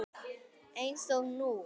Eins og nú.